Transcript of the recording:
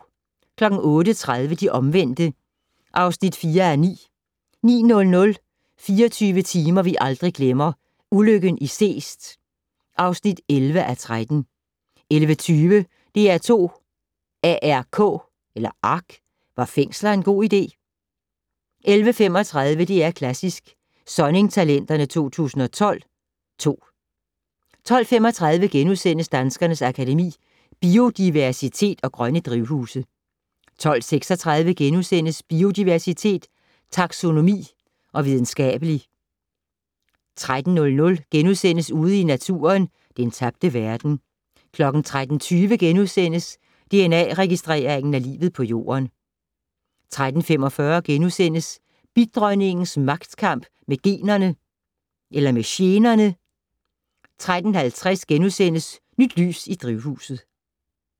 08:30: De omvendte (4:9) 09:00: 24 timer vi aldrig glemmer - ulykken i Seest (11:13) 11:20: DR2s ARK - Var fængsler en god idé? 11:35: DR Klassisk: Sonning-talenterne 2012 (2) 12:35: Danskernes Akademi: Biodiversitet & Grønne drivhuse * 12:36: Biodiversitet, taxonomi og videnskabelige * 13:00: Ude i Naturen - Den tabte verden * 13:20: Dna-registrering af livet på Jorden? * 13:45: Bidronningens magtkamp med generne * 13:50: Nyt lys i drivhuset *